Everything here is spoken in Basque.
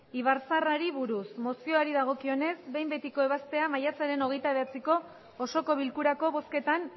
ibarzaharrari buruz mozioari dagokionez behin betiko ebazpena maiatzaren hogeita bederatziko osoko bilkurako bozketan